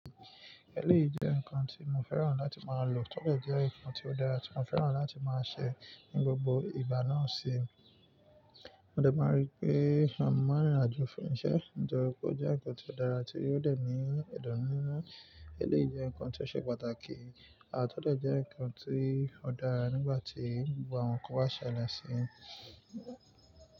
Eléyìí jẹ́ nǹkan tí mo fẹ́ràn láti máa lò, tọ́dẹ̀ jẹ́ nǹkan tí ó dára tí mo fẹ́ràn láti máa ṣẹ̀ ní gbogbo ìgbà náà sì. Mo dẹ̀ máa rí pé mo máa n rìnrìnàjò fún iṣẹ́, tori pe ó jẹ́ nǹkan tí ó dára àti ó tọ́ dé ni idumininú. Eléyìí jẹ́ nǹkan tí ó ṣe pàtàkì, à tọ́dẹ̀ jẹ́ nǹkan tí ó dára nígbà tí gbogbo àwọn nǹkan bá ṣẹlẹ̀ sì.